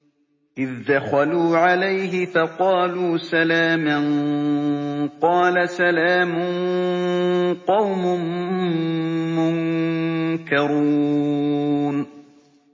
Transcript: إِذْ دَخَلُوا عَلَيْهِ فَقَالُوا سَلَامًا ۖ قَالَ سَلَامٌ قَوْمٌ مُّنكَرُونَ